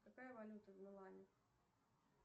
какая валюта в милане